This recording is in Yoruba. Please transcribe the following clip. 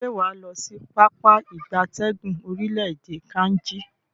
Se waa lo si Pápá ìgbatẹ́gùn orile-ede Kainji?